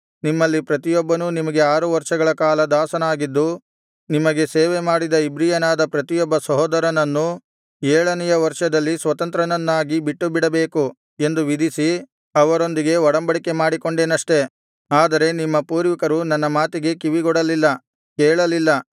ನಿಮ್ಮಲ್ಲಿ ಪ್ರತಿಯೊಬ್ಬನು ನಿಮಗೆ ಆರು ವರ್ಷಗಳ ಕಾಲ ದಾಸನಾಗಿದ್ದು ನಿಮಗೆ ಸೇವೆ ಮಾಡಿದ ಇಬ್ರಿಯನಾದ ಪ್ರತಿಯೊಬ್ಬ ಸಹೋದರನನ್ನು ಏಳನೆಯ ವರ್ಷದಲ್ಲಿ ಸ್ವತಂತ್ರನನ್ನಾಗಿ ಬಿಟ್ಟುಬಿಡಬೇಕು ಎಂದು ವಿಧಿಸಿ ಅವರೊಂದಿಗೆ ಒಡಂಬಡಿಕೆ ಮಾಡಿಕೊಂಡೆನಷ್ಟೆ ಆದರೆ ನಿಮ್ಮ ಪೂರ್ವಿಕರು ನನ್ನ ಮಾತಿಗೆ ಕಿವಿಗೊಡಲಿಲ್ಲ ಕೇಳಲಿಲ್ಲ